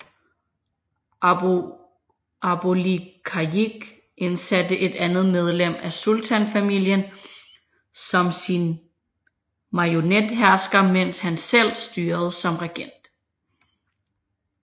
Abu Likayik indsatte et andet medlem af sultanfamilien som sin marionethersker mens hans selv styrede som regent